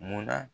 Munna